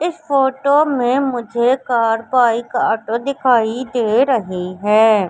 इस फोटो में मुझे कार बाईक ऑटो दिखाई दे रही है।